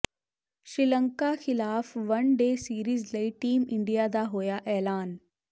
ਸ੍ਰੀਲੰਕਾ ਖਿਲਾਫ one day series ਲਈ team India ਦਾ ਹੋਇਆ ਐਲਾਨ